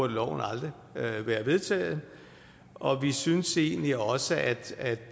loven aldrig have været vedtaget og vi synes egentlig også at